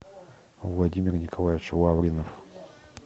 владимир николаевич лавринов